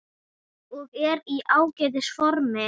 Ég er í ágætis formi.